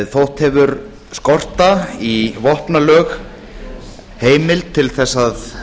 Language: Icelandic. þótt hefur skorta í vopnalög heimild til þess að